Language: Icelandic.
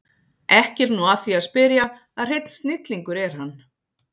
Ekki er nú að því að spyrja að hreinn snillingur er hann